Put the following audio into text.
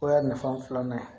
O y'a nafa filanan ye